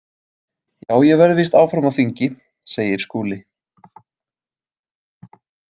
Já, ég verð víst áfram á þingi, segir Skúli.